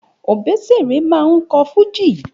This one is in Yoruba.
Òbésèré máa ń kọ́ fújì